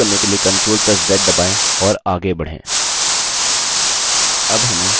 undo करने के लिए ctrl + z दबाएँ और आगे बढ़ें